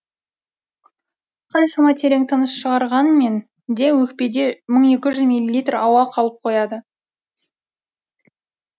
қаншама терең тыныс шығарғанмен де өкпеде мың екі жүз милилитр ауа қалып қояды